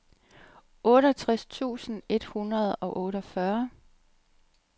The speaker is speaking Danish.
otteogtres tusind et hundrede og otteogfyrre